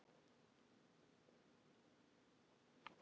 Gísli: En eldsupptök eru þau ljós?